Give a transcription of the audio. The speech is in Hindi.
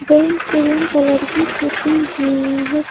बैंक क्रीम कलर की पुती हुई है।